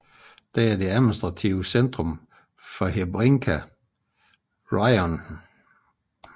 Den er det administrative centrum for Hrebinka Raion